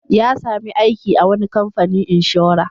Ya sami aiki a wani kamfanin inshora.